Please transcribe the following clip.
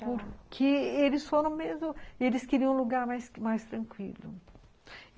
Porque eles foram mesmo, eles queriam um lugar mais mais tranquilo.